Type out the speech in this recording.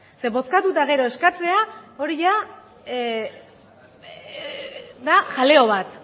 ze bozkatu eta gera eskatzea hori da jaleo bat